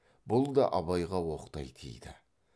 бұл да абайға оқтай тиді